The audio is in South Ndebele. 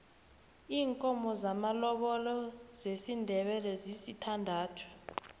iinkomo zamalobolo zesindebele zisithandathu